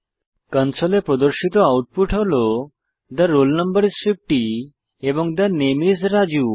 কনসোলে প্রদর্শিত আউটপুট হল the roll no is 50 এবং থে নামে আইএস রাজু